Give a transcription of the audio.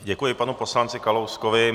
Děkuji panu poslanci Kalouskovi.